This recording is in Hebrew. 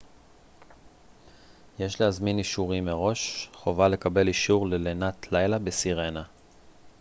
יש להזמין אישורים מראש חובה לקבל אישור ללינת לילה בסירנה